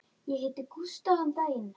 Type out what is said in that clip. Ég hitti Gústa um daginn.